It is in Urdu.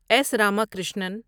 ایس راماکرشنن